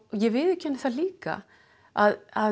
ég viðurkenni það líka að